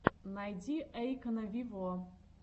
найди эйкона виво